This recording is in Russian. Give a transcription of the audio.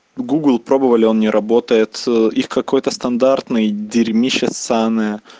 гугл пробовали он не работает их какой-то стандартный дерьмище ссаное